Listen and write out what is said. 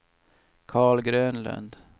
Carl Grönlund